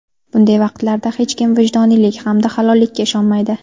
Bunday vaqtlarda hech kim vijdoniylik hamda halollikka ishonmaydi.